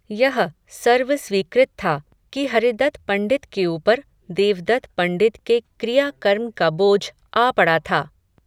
यह, सर्व स्वीकृत था, कि हरिदत्त पण्डित के ऊपर, देवदत्त पण्डित के क्रिया कर्म का बोझ आ पड़ा था